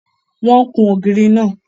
Wọ́n kún ògiri náà.